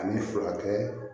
Ani furakɛ